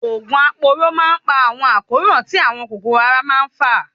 Òògùn aporó má ń pa àwọn àkóràn tí àwọn kòkòrò ara má ń fà.